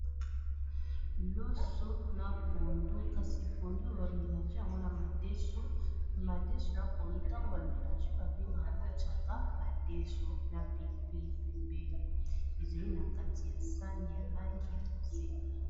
Loso na pondo kasi ya bamelange yangona madeso na pondo ntango bamelange babengaka yango chaka madeso na pilo pili pembeli ezali na kati ya sani ya langi ya bozenga